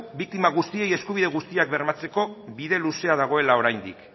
biktima guztiei eskubide guztiak bermatzeko bide luzea dagoela oraindik